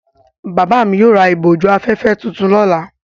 Bàbá mi yóò ra ìbòjú-afẹ́fẹ́ tuntun lọ́la.